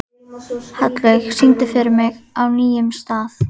Hallveig, syngdu fyrir mig „Á nýjum stað“.